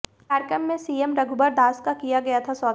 कार्यक्रम में सीएम रघुबर दास का किया गया था स्वागत